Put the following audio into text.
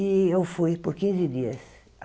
E eu fui por quinze dias.